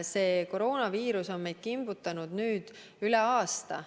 See koroonaviirus on meid kimbutanud nüüd üle aasta.